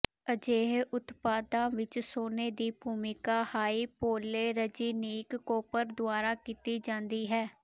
ਅਜਿਹੇ ਉਤਪਾਦਾਂ ਵਿੱਚ ਸੋਨੇ ਦੀ ਭੂਮਿਕਾ ਹਾਈਪੋਲੇਰਜੀਨਿਕ ਕੌਪਰ ਦੁਆਰਾ ਕੀਤੀ ਜਾਂਦੀ ਹੈ